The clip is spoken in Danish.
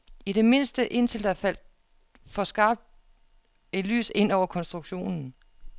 I det mindste indtil der faldt for skarpt et lys ind over konstruktionen.